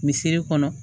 Misiri kɔnɔ